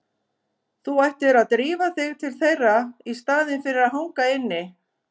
Þú ættir að drífa þig til þeirra í staðinn fyrir að hanga inni.